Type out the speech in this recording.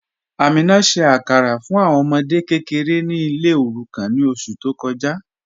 Amina ṣẹ̀ àkàrà fún awọn ọmọdè kẹkẹ̀rẹ̀ ní ilẹ̀ òrùkàn ní oṣù tó kọja